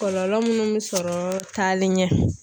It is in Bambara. Kɔlɔlɔ minnu bɛ sɔrɔ taalen ɲɛ.